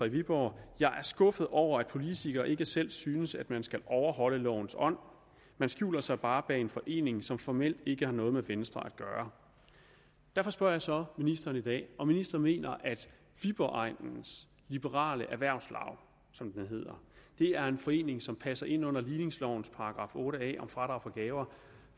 i viborg jeg er skuffet over at politikerne ikke selv synes at man skal overholde lovens ånd man skjuler sig bare bag en forening som formelt ikke har noget med venstre at gøre derfor spørger jeg så ministeren i dag om ministeren mener at viborg egnens liberale erhvervslaug som det hedder er en forening som passer ind under ligningslovens § otte a om fradrag for gaver